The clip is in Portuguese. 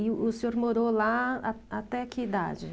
E o o senhor morou lá a até que idade?